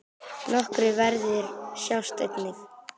Nokkrir verðir sjást einnig.